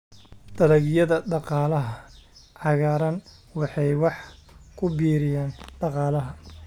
Dalagyada Dhaqaalaha Cagaaran waxay wax ku biiriyaan dhaqaalaha.